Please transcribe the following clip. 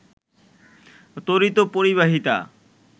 তড়িত পরিবাহিতা